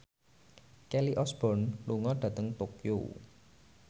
Kelly Osbourne lunga dhateng Tokyo